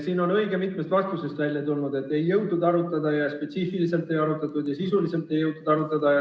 Siin on õige mitmest vastusest välja ei tulnud, et ei jõutud arutada, spetsiifiliselt ei arutatud või sisuliselt ei jõutud arutada.